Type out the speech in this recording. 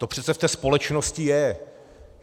To přece v té společnosti je.